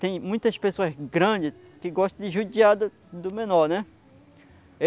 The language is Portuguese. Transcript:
Tem muitas pessoas grandes que gostam de judiar do do menor, né?